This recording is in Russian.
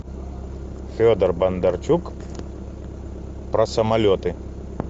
федор бондарчук про самолеты